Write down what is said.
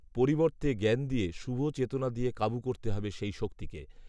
পরিবর্তে জ্ঞান দিয়ে, শুভ চেতনা দিয়ে কাবু করতে হবে সেই শক্তিকে